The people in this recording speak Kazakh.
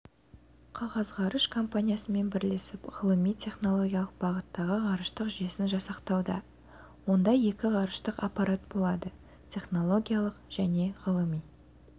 қағазғарыш компаниясымен бірлесіп ғылыми-технологиялық бағыттағы ғарыштық жүйесін жасақтауда онда екі ғарыштық аппарат болады технологиялық және ғылыми